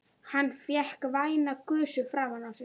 Hann fékk væna gusu framan á sig.